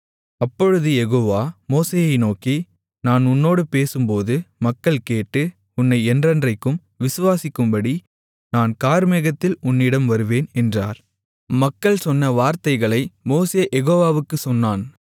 அப்பொழுது யெகோவா மோசேயை நோக்கி நான் உன்னோடு பேசும்போது மக்கள் கேட்டு உன்னை என்றைக்கும் விசுவாசிக்கும்படி நான் கார்மேகத்தில் உன்னிடம் வருவேன் என்றார் மக்கள் சொன்ன வார்த்தைகளை மோசே யெகோவாவுக்குச் சொன்னான்